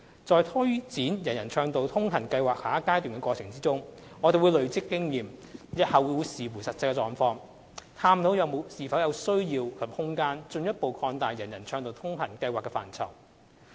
在推展"人人暢道通行"計劃下一階段的過程中，我們會累積經驗，日後視乎實際情況，探討是否有需要及空間進一步擴大"人人暢道通行"計劃的範疇。